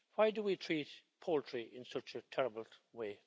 Why do we treat poultry in such a terrible way?